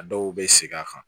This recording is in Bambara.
A dɔw bɛ segin a kan